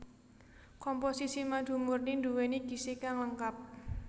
Komposisi madu murni nduwéni gizi kang lengkap